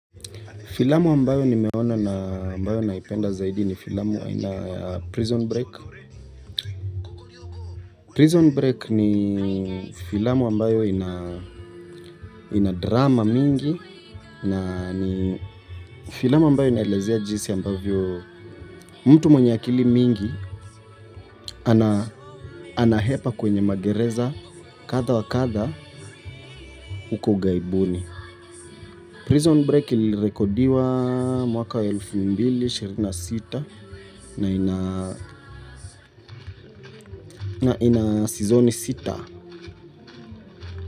Filamu ambayo nimeona na ambayo naipenda zaidi ni filamu aina ya Prison Break. Prison Break ni filamu ambayo ina drama mingi na ni filamu ambayo inaelezea jinsi ambavyo mtu mwenye akili mingi anahepa kwenye magereza kaha wa kadha huko ugaibuni. Prison Break ilirekodiwa mwaka elfu mbili ishirini na sita na ina season sita.